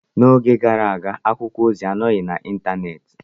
N'oge gara aga, akwụkwọ ozi anọghị n'Ịntanet.